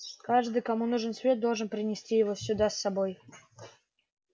каждый кому нужен свет должен принести его сюда с собой